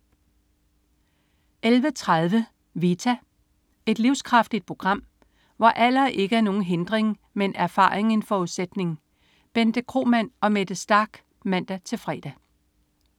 11.30 Vita. Et livskraftigt program, hvor alder ikke er nogen hindring, men erfaring en forudsætning. Bente Kromann og Mette Starch (man-fre)